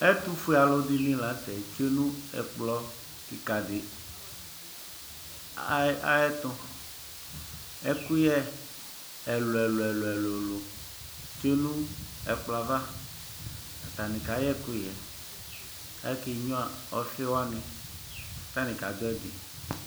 Ɛtvfue alʋdini lanʋtɛ tsue nʋ ɛkplɔ kika di ayʋ ɛtʋ ɛkʋyɛ ɛlʋ ɛlʋ ɛlʋ tsuenv ɛkplɔ yɛ ava atani kayɛ ɛkʋyɛ kʋ akenyua ɔfi wani kʋ atani kadʋ ɛdi